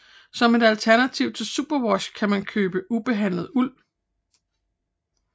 Som et alternativ til superwash kan man købe ubehandlet uld